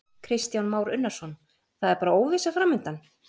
Kristján Már Unnarsson: Það er bara óvissa framundan?